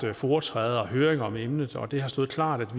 foretræde og høringer om emnet og det har stået klart at